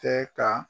Tɛ ka